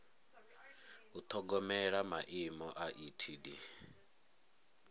u ṱhogomela maimo a etd